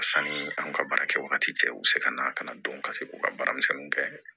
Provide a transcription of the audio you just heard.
Sanni an ka baara kɛ wagati cɛ u bɛ se ka na ka na don ka se u ka baaramisɛnninw kɛ